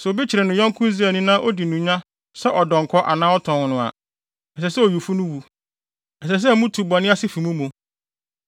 Sɛ obi kyere ne yɔnko Israelni na odi no nya sɛ ɔdɔnkɔ anaa ɔtɔn no a, ɛsɛ sɛ owifo no wu. Ɛsɛ sɛ mutu bɔne ase fi mo mu.